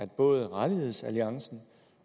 både rettighedsalliancen